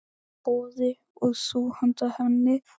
Boði: Og þú handa henni?